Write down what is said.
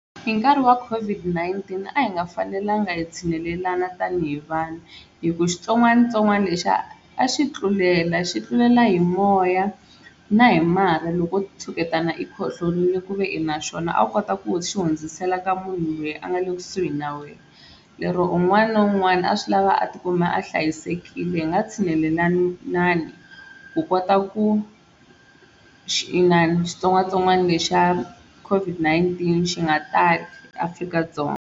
Hi nkarhi wa COVID-19 a hi nga fanelanga hi tshunelelana tanihi vanhu hi ku xitsongwatsongwana lexiya a xi tlulela xi tlulela hi moya na hi marha loko o tshuketana i khohlorile ku ve i na xona a wu kota ku xi hundzisela ka munhu loyi a nga le kusuhi na wena lero un'wana na un'wana a swi lava a tikuma a hlayisekile hi nga tshunelelanani ku kota ku xi inani xitsongwatsongwana lexa COVID-19 xi nga tali eAfrika-Dzonga.